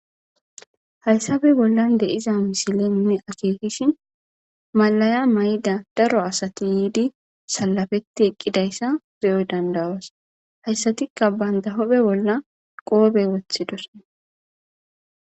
Hayssappe bollan dizza missile nuyi akkekishin malliya maayida daaro asati yiidi salafeti eqqidayssa be'o danda'os hayssatika bantta huphphe bolla qobbe woththidda.